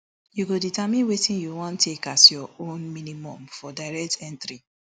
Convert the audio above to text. you go determine wetin you wan take as your own minimum for direct entry